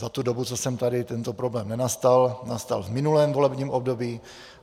Za tu dobu, co jsem tady, tento problém nenastal, nastal v minulém volebním období.